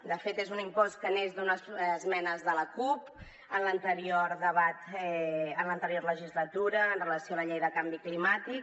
de fet és un impost que neix d’unes esmenes de la cup en l’anterior legislatura amb relació a la llei de canvi climàtic